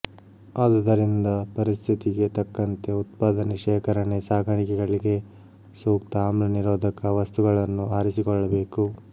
ಆದುದರಿಂದ ಪರಿಸ್ಥಿತಿಗೆ ತಕ್ಕಂತೆ ಉತ್ಪಾದನೆ ಶೇಖರಣೆ ಸಾಗಾಣಿಕೆಗಳಿಗೆ ಸೂಕ್ತ ಆಮ್ಲ ನಿರೋಧಕ ವಸ್ತುಗಳನ್ನು ಆರಿಸಿಕೊಳ್ಳಬೇಕು